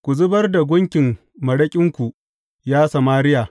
Ku zubar da gunkin maraƙinku, ya Samariya!